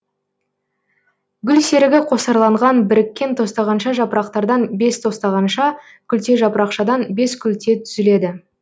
гүлсерігі қосарланған біріккен тостағанша жапырақтардан бес тостағанша күлтежапырақшадан бес күлте түзіледі